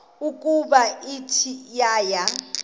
ukuba ithe yaya